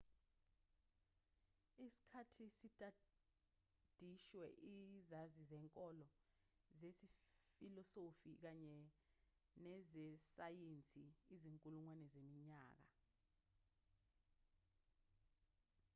isikhathi sitadishwe izazi zenkolo zefilosofi kanye nezesayensi izinkulungwane zeminyaka